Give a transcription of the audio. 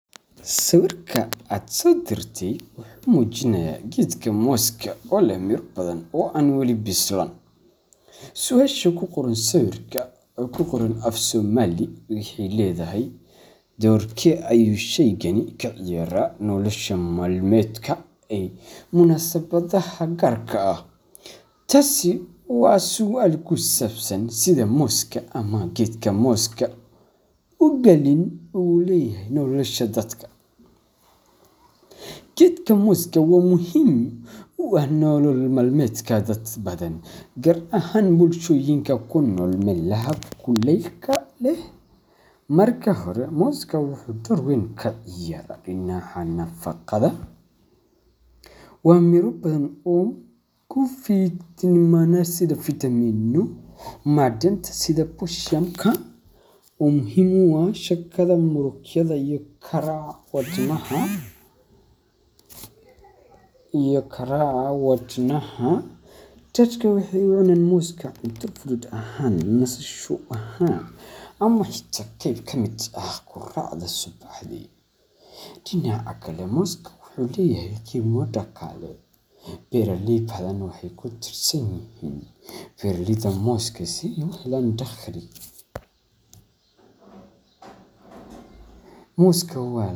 Sawirkan AA sodirtay waxuu mujinaya keetga mooska oo leeh Mira bathan oo an wali bisloon, suasha kuqoran sawirka afsomali Geetha doorke ayu sheeygan kaceyarah nolosha malameetka munasabadaha garka aah taasi Aya sual kusabsan Setha mooska geetkana ugalini oo leeyahay nolosha dadka . Keetga mosska wamuhim wa nolol malameet dad bathan Gaar ahaan bulshoyinga kunol Malawi marka hori mooska waxu door weyn kaceyarah dinaca nafaqatha, wa Mira bathan kufatimnaga macdanta setha oo muhim u yahay setha mashaqatha Karachi watnaha iyo karaa watnaha dadka waxa u nanacan mooska cunta futhut ahaan amah qeeb kamit aah qoracdaa subaxdhi. Dinaca Kali mooska waxu leeyahay qiima daqale beeraley bathan waxay kutirsanyahin si u helan daqhali mooska wa.